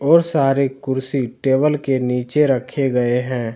और सारे कुर्सी टेबल के नीचे रखे गए हैं।